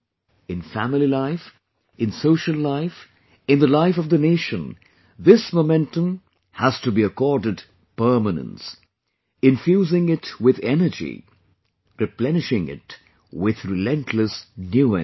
In family life, in social life, in the life of the Nation, this momentum has to be accorded permanence...infusing it with energy...replenishing it with relentless new energy